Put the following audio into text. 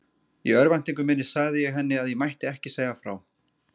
Í örvæntingu minni sagði ég henni að ég mætti ekki segja frá.